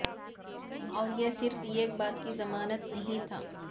اور یہ صرف ایک بات کی ضمانت نہیں تھا